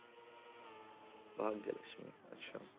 ਭਾਗਯ ਲਕਸ਼ਮੀ, ਅੱਛਾ।